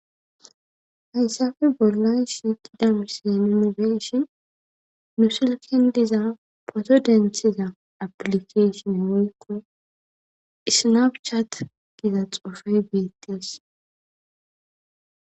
Hayssafe bollay siqidamisin inobeshin nu silkin diza poto denthiza aplikeshin hoykko isnabchat giza xoofay beettes